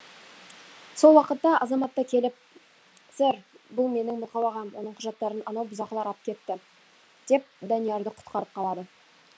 сол уақытта азаматта келіп сэр бұл менің мылқау ағам оның құжаттарын анау бұзақылар ап кетті деп даниярды құтқарып қалады